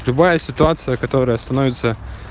любая ситуация которая становится